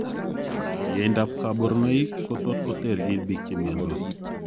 Yaaindab kaborunoik kotot koterchin biik chemiondos